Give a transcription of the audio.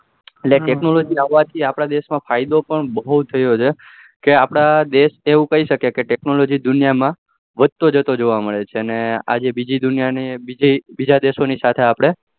એટલે technology આવવા થી આપડા દેશ માં ફાયદાઓ પણ બહુ થયો છે કે આપડા દેશ જેવું કઈ શકાય કે technology દુનિયા માં વધતો જતો જોવા મળે છે અને આ જી બીજી દુનિયા ને બીજા દેશો સાથે